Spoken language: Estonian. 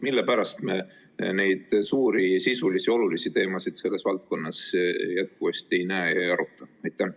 Mille pärast me neid suuri sisulisi olulisi teemasid selles valdkonnas jätkuvasti ei aruta?